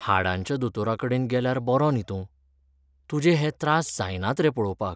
हाडांच्या दोतोराकडेन गेल्यार बरो न्हीं तूं? तुजे हे त्रास जायनात रे पळोवपाक.